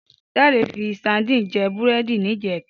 Dare fi sádìn jè búrèdí nijètá